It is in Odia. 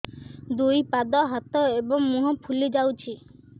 ଦୁଇ ପାଦ ହାତ ଏବଂ ମୁହଁ ଫୁଲି ଯାଉଛି